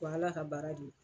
Ko ala ka baara de.